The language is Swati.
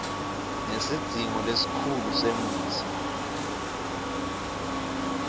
nesidzingo lesikhulu semutsi